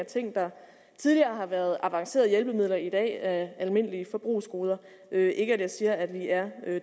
at ting der tidligere har været avancerede hjælpemidler i dag er almindelige forbrugsgoder det er ikke for at sige at vi er